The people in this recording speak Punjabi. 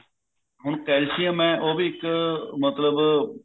ਹੁਣ calcium ਐ ਉਹ ਵੀ ਇੱਕ ਮਤਲਬ